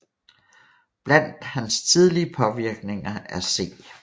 Blandt hans tidlige påvirkninger er C